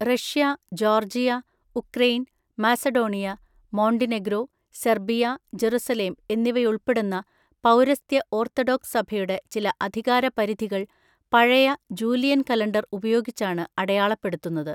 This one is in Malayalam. Russia, Georgia, Ukraine, Macedonia, Montenegro, Serbia, Jerusalem എന്നിവയുൾപ്പെടുന്ന പൗരസ്ത്യ ഓർത്തഡോക്സ് സഭയുടെ ചില അധികാരപരിധികൾ പഴയ ജൂലിയൻ കലണ്ടർ ഉപയോഗിച്ചാണ് അടയാളപ്പെടുത്തുന്നത്.